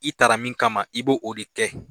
I tara min kama i b'o de kɛ